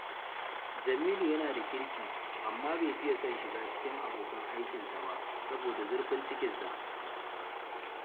Jamilu yana da kirki, amma bai fiya son shiga cikin abokan aikinsa ba saboda zurfin cikinsa